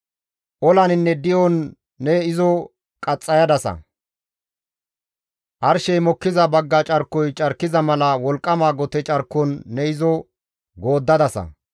Olaninne di7on ne izo qaxxayadasa; arshey mokkiza bagga carkoy carkiza mala wolqqama gote carkon ne izo gooddadasa.